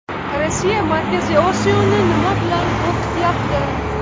Rossiya Markaziy Osiyoni nima bilan qo‘rqityapti?